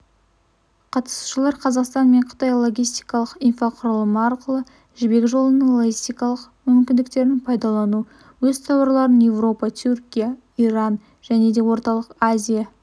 қатысушылар қазақстан мен қытай логистикалық инфрақұрылымы арқылы жібек жолының логистикалық мүмкіндіктерін пайдалану өз тауарларын еуропа түркия иран және де орталық азия